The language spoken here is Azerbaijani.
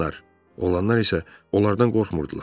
Oğlanlar isə onlardan qorxmurdular.